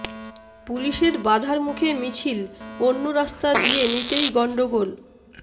পুলিশের বাধার মুখে মিছিল অন্য রাস্তা দিয়ে নিতেই গন্ডগোল